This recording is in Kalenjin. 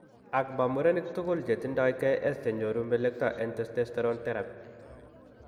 Ak, maa murenik tugul chetindo KS chenyoru melekto en testosterone therapy.